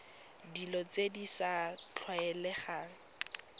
dilo tse di sa tlwaelegang